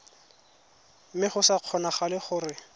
mme go sa kgonagale gore